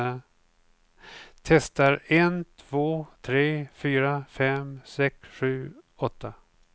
Testar en två tre fyra fem sex sju åtta.